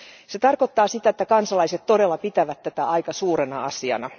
Se tarkoittaa sitä, että kansalaiset todella pitävät tätä aika suurena asiana.